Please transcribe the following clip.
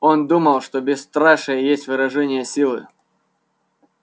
он думал что бесстрашие есть выражение силы